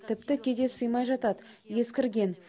тіпті кейде сыймай жатады ескірген